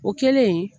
O kɛlen